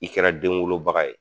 I kɛra den wolobaga ye